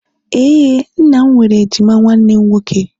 ee, nna m nwere ejima nwanne nwoke